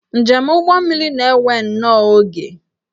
Njem ụgbọmmiri na-ewe nnọọ oge